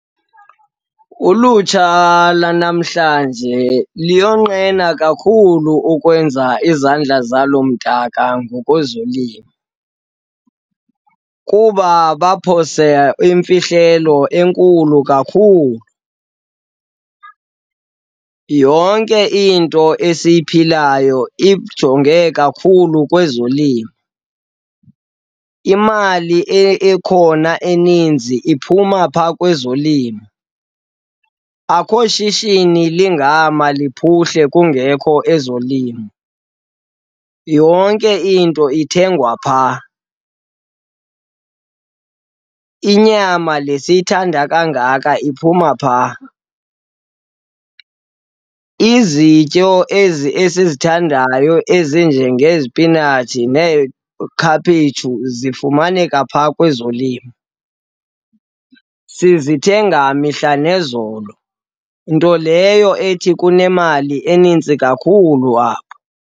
Ulutsha lwanamhlanje luyonqena kakhulu ukwenza izandla zalo mdaka ngokwezolimo kuba baphose imfihlelo enkulu kakhulu. Yonke into esiyiphilayo ijonge kakhulu kwezolimo, imali ekhona eninzi iphuma phaa kwezolimo. Akho shishini ligama luphuhle kungekho ezolimo, yonke into ithengwa phaa. Inyama le siyayithanda kangaka iphuma phaa, izityo ezi esizithandayo ezinjengezipinatshi neekhaphetshu zifumaneka pha kwezolimo. Sizithenga mihla nezolo, nto leyo ethi kunemali enintsi kakhulu apho.